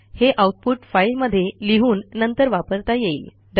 हे आऊटपुट फाईलमध्ये लिहून नंतर वापरता येईल